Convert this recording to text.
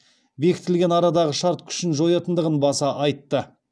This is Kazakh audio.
бекітілген арадағы шарт күшін жоятындығын баса айтты